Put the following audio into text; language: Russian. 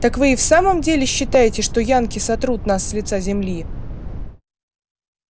так вы и в самом деле считаете что янки сотрут нас с лица земли